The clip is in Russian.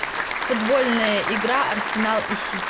футбольная игра арсенал и сити